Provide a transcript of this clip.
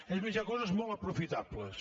és més hi ha coses molt aprofitables